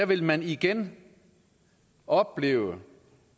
vil man igen opleve